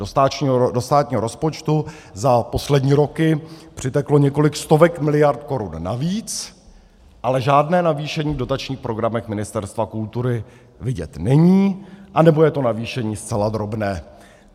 Do státního rozpočtu za poslední roky přiteklo několik stovek miliard korun navíc, ale žádné navýšení v dotačních programech Ministerstva kultury vidět není, anebo je to navýšení zcela drobné.